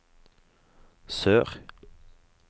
sør